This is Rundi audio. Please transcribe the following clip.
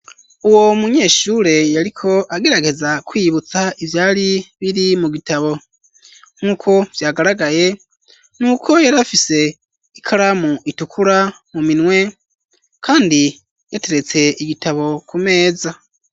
Uwo munyeshure yariko agerageza kwiyibutsa ivyari biri mu bitabo nkuko vyagaragaye nuko yari afise ikaramu itukura mu minwe kandi yateretse igitabo ku meza.